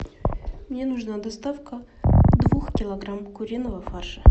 мне нужна доставка двух килограмм куриного фарша